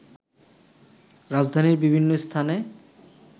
রাজধানীর বিভিন্ন স্থানে